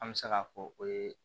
An bɛ se k'a fɔ o ye